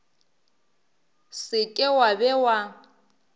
se ke wa be wa